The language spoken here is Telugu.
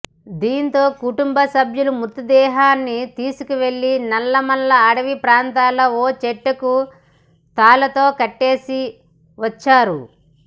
దీంతో కుటుంబ సభ్యులు మృతదేహాన్ని తీసుకెళ్లి నల్లమల అటవీ ప్రాంతంలో ఓ చెట్టుకు తాళ్లతో కట్టేసి వచ్చారు